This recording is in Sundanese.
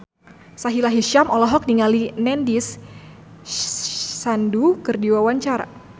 Sahila Hisyam olohok ningali Nandish Sandhu keur diwawancara